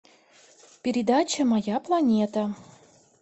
передача моя планета